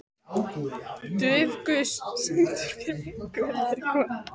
Dufgus, syngdu fyrir mig „Guð er kona“.